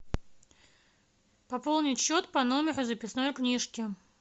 пополнить счет по номеру записной книжки